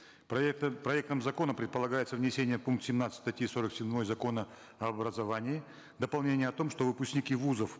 проектом закона предполагается внесение в пункт семнадцать статьи сорок седьмой закона об образовании дополнение о том что выпускники вузов